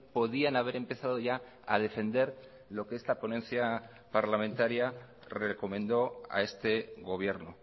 podían haber empezado ya a defender lo que esta ponencia parlamentaria recomendó a este gobierno